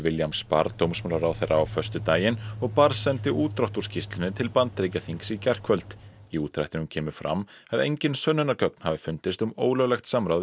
Williams barr dómsmálaráðherra á föstudaginn og barr sendi útdrátt úr skýrslunni til Bandaríkjaþings í gærkvöld í útdrættinum kemur fram að engin sönnunargögn hafi fundist um ólöglegt samráð